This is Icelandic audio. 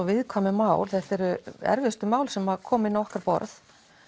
viðkvæmu mál þetta eru erfiðustu mál sem koma inn á okkar borð